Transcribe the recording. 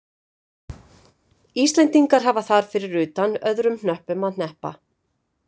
Íslendingar hafa þar fyrir utan öðrum hnöppum að hneppa.